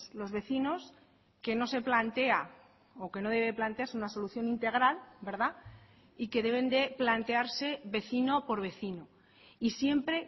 los vecinos que no se plantea o que no debe plantearse una solución integral y que deben de plantearse vecino por vecino y siempre